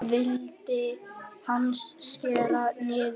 Hvað vildi hann skera niður?